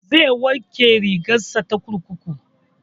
Zai wanke rigar sa ta kurkuku